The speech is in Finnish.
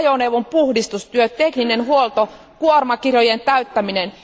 ajoneuvon puhdistustyöt, tekninen huolto ja kuormakirjojen täyttäminen.